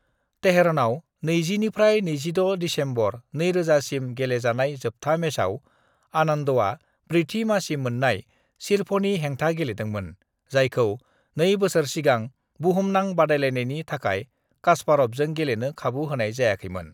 "तेहरानाव 20 निफ्राय 26 दिसंबर 2000 सिम गेलेजानाय जोबथा मेचआव आनन्दआ ब्रैथि मासि मोन्नाय शिरभनि हेंथा गेलेदोंमोन, जायखौ नै बोसोर सिगां बुहुमनां बादायलायनायनि थाखाय कास्पारभजों गेलेनो खाबु होनाय जायाखैमोन।"